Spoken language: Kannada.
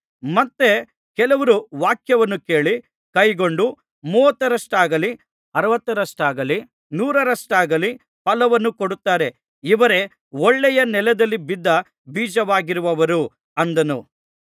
ಮತ್ತೆ ಕೆಲವರು ವಾಕ್ಯವನ್ನು ಕೇಳಿ ಕೈಕೊಂಡು ಮೂವತ್ತರಷ್ಟಾಗಲಿ ಅರವತ್ತರಷ್ಟಾಗಲಿ ನೂರರಷ್ಟಾಗಲಿ ಫಲವನ್ನು ಕೊಡುತ್ತಾರೆ ಇವರೇ ಒಳ್ಳೆಯ ನೆಲದಲ್ಲಿ ಬಿದ್ದ ಬೀಜವಾಗಿರುವವರು ಅಂದನು